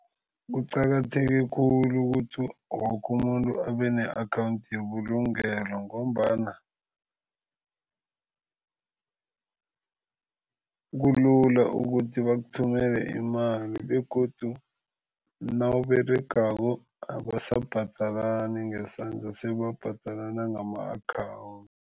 Kuqakatheke khulu ukuthi wokumuntu abene-akhawundi yebulungelo ngombana kulula ukuthi bakuthumele imali begodu nawUberegako abasabhadalani ngesandla sebabhadalana ngama